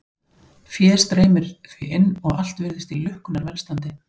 Fé streymir því inn og allt virðist í lukkunnar velstandi.